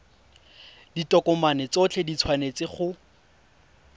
ditokomane tsotlhe di tshwanetse go